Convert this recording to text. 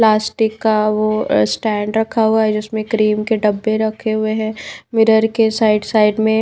plastic का वो stand रखा हुआ है जिसमें क्रीम के डब्बे रखे हुए हैं मिरर के साइड साइड में--